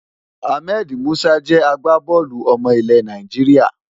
Ahmed Musa jẹ́ agbábọ́ọ̀lù ọmọ ilẹ̀ Nàìjíríà.